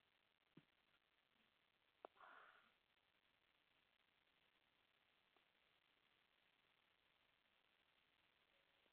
tomitiki moyiaritin te maua sikitok te nkidura oo ndaiki, aasishore embeku natonyorayoki, ntayu nipej nkaitubulu naata moyiaritin